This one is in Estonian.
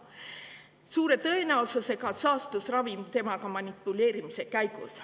Suure tõenäosusega saastus ravim temaga manipuleerimise käigus.